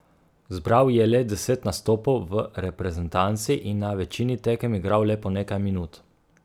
Zbral je le deset nastopov v reprezentanci in na večini tekem igral le po nekaj minut.